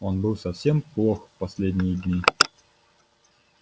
он был совсем плох последние дни